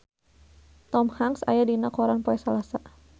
Tom Hanks aya dina koran poe Salasa